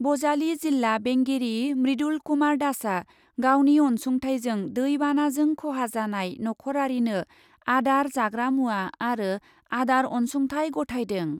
बजालि जिल्ला बेंगिरि मृदुल कुमार दासआ गावनि अन्सुंथायजों दै बानाजों ख'हा जानाय नख'रारिनो आदार जाग्रा मुवा आरो आदार अन्सुंथाय गथायदों ।